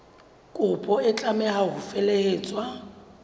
kopo e tlameha ho felehetswa